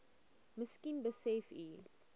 miskien besef u